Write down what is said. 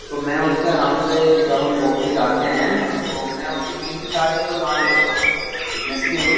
तो मैं उसके आराम से जब हम वर्क पे जाते हैं तो मैं उसके तीन से चार चक्कर मार लेता हूं फिटनेस के --